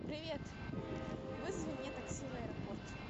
привет вызови мне такси в аэропорт